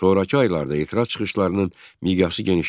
Sonrakı aylarda etiraz çıxışlarının miqyası genişləndi.